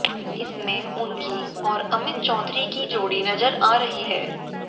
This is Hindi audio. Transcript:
इसमें उनकी और अमित चौधरी की जोड़ी नजर आ रही है